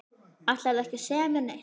Ætlarðu ekki að segja mér neitt?